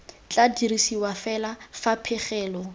tla dirisiwa fela fa pegelo